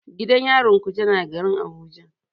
Gidan yarin kuje na garin Abuja.